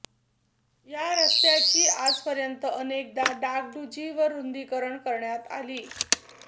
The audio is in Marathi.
या रस्त्याची आजपर्यंत अनेकदा डागडुजी व रुंदीकरण करण्यात आली